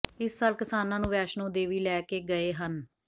ਇਸ ਸਾਲ ਕਿਸਾਨਾਂ ਨੂੰ ਵੈਸ਼ਨੋ ਦੇਵੀ ਲੈ ਕੇ ਗਏ ਹਨ